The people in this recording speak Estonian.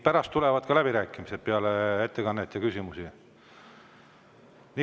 Pärast tulevad ka läbirääkimised, peale ettekannet ja küsimusi.